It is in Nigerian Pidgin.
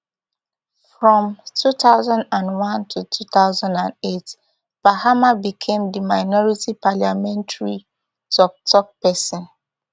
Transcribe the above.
from two thousand and one to two thousand and eight mahama become di minority parliamentary tok tok pesin